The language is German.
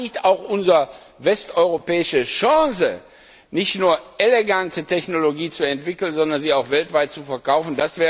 Und da liegt auch unsere westeuropäische Chance, nicht nur elegante Technologie zu entwickeln, sondern sie auch weltweit zu verkaufen.